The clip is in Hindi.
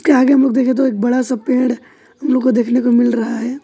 देखें तो एक बड़ा सा पेड़ हम लोग को देखने को मिल रहा है।